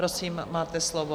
Prosím, máte slovo.